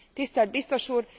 Tisztelt biztos úr!